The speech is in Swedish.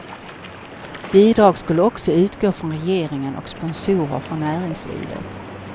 Bidrag skulle också utgå från regeringen och sponsorer från näringslivet.